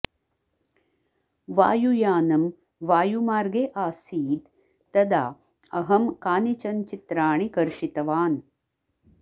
वायुयानं वायुमार्गे आसीत् तदा अहं कानिचन् चित्राणि कर्षितवान्